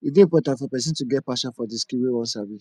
e de important for persin to get passion for the skill wey won sabi